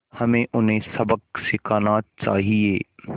हमें उन्हें सबक सिखाना चाहिए